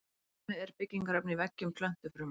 Beðmi er byggingarefni í veggjum plöntufruma.